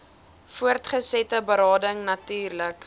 voortgesette berading natuurlik